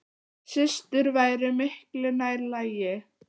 Systur væri miklu nær lagi.